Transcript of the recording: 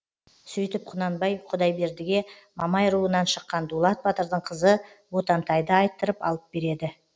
сөйтіп құнанбай құдайбердіге мамай руынан шыққан дулат батырдың қызы ботантайды айттырып алып береді